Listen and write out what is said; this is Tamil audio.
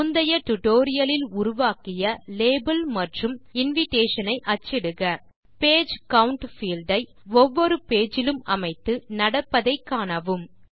முந்தைய டியூட்டோரியல் லில் உருவாக்கிய லேபல் மற்றும் இன்விடேஷன் ஐ அச்சிடுக பேஜ் கவுண்ட் பீல்ட் ஐ ஒவ்வொரு பேஜ் இலும் அமைத்து நடப்பதை காணவும்